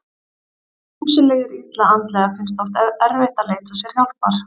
Þeim sem líður illa andlega finnst oft erfitt að leita sér hjálpar.